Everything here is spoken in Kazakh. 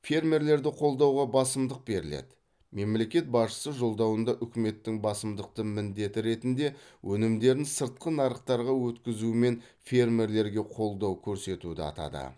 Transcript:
фермерлерді қолдауға басымдық беріледі мемлекет басшысы жолдауында үкіметтің басымдықты міндеті ретінде өнімдерін сыртқы нарықтарға өткізумен фермелерге қолдау көрсетуді атады